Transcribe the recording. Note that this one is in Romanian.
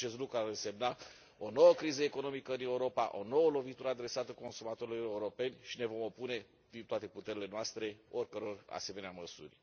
Acest lucru ar însemna o nouă criză economică în Europa, o nouă lovitură adresată consumatorilor europeni și ne vom opune din toate puterile noastre oricăror asemenea măsuri.